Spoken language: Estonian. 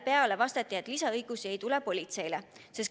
Vastati, et lisaõigusi ei tule.